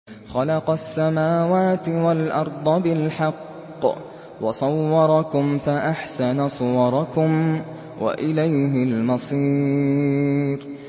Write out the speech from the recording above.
خَلَقَ السَّمَاوَاتِ وَالْأَرْضَ بِالْحَقِّ وَصَوَّرَكُمْ فَأَحْسَنَ صُوَرَكُمْ ۖ وَإِلَيْهِ الْمَصِيرُ